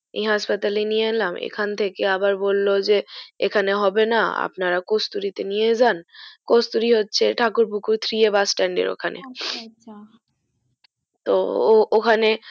এ হাসপাতালে নিয়ে এলাম এখন থেকে আবার বললো যে এখানে হবেনা আপনারা কস্তুরীতে নিয়ে যান কস্তুরী হচ্ছে Thakur Pukur Three a bus stand আর ওখানে আচ্ছা তো ও ওখানে